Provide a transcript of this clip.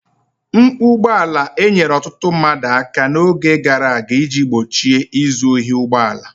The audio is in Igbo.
Mkpu ụgbọ ala enyere ọtụtụ mmadụ aka n'oge gara aga iji gbochie izu ohi ụgbọ ala.